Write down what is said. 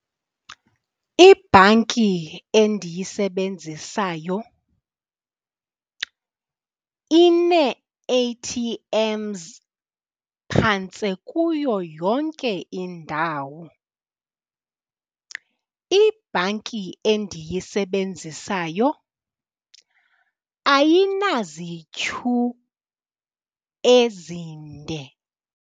Ibhanki endiyisebenzisayo inee-A_T_Ms phantse kuyo yonke indawo. Ibhanki endiyisebenzisayo ayinazityhu ezinde.